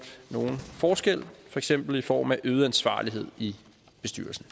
nogen forskel for eksempel i form af øget ansvarlighed i bestyrelsen